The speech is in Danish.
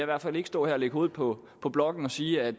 hvert fald ikke stå her og lægge hovedet på på blokken og sige at